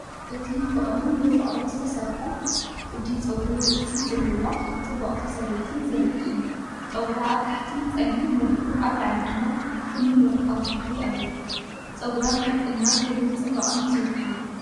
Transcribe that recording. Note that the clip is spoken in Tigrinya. እቲ ፍቕርን ብፍቕርን ዝተሰርሐ ቅዲ ጸጉሪ ርእሲ ዘለዋ ጽብቕቲ ሰበይቲ ዘርኢ እዩ። ጸጉራ ኣብ ታሕቲ ጸሊም መሊኡ ኣብ ላዕሊ ድማ ፍሉይ ወርቃዊ ሕብሪ ኣለዎ። ጸጉራ ንሓቀኛ ክብርን ጽባቐን ዝውክል እዩ።